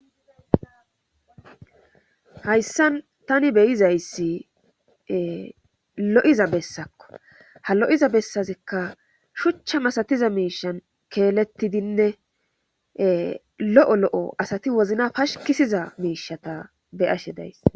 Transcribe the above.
Hayssan tani beyizayssi lo7iza bessakko ha lo7iza bessazekka shuchcha masatiza miishan keelettidinne lo7o lo7o asati wozna pashikisiza miishata be'ashe days.